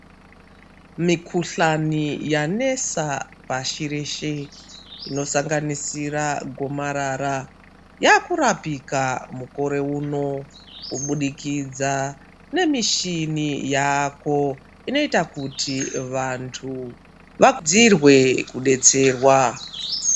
Mikuhlani yanesa pashi reshe Inosanganisira gomarara yakurapika mukore uno kuburikidza nemushini yako inoita kuti vantu vadziirwe kudetserwa.